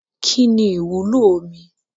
Kínní ìwúlò omi